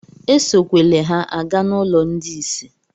Esokwele ha aga n'ụlọ ndị isi!